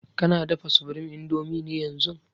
Kana dafa supreme indomie ne yanzun>